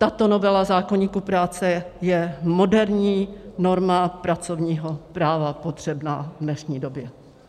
Tato novela zákoníku práce je moderní norma pracovního práva potřebná v dnešní době.